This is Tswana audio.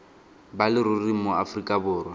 ba leruri mo aforika borwa